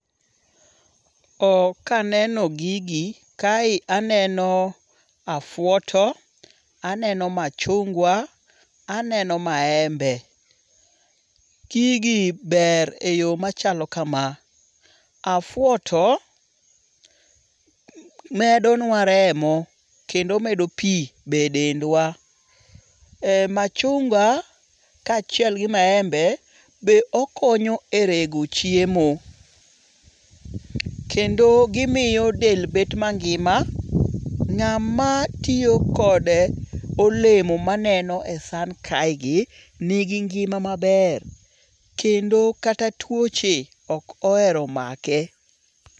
Kaneno gigi kae aneno afwoto. Aneno machunga. Aneno maembe. Gigi ber e yo machalo kama. Afwoto medo nwa remo kendo omedo pi be e dendwa. Machunga ka achiel gi maembe be okonyo e rego chiemo. Kendo gimiyo del bet mangima. Ng'a ma tiyokod olemo ma aneno e san kae gi ni gi ngima maber. Kendo kata tuoche ok ohero make.